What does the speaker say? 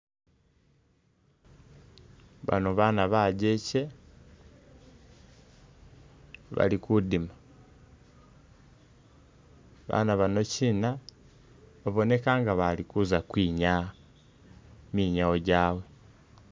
Bano baana bajjeke bali kudima ,baana bano kyina babonekha nga bali kuza kwinyaah minyawo gyawe